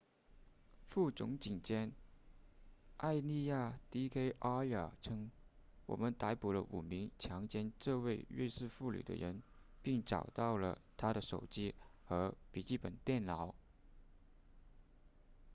副总警监埃利亚 d k arya 称我们逮捕了5名强奸这位瑞士妇女的人并找到了她的手机和笔记本电脑